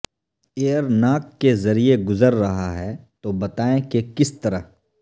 year ناک کے ذریعے گزر رہا ہے تو بتائیں کہ کس طرح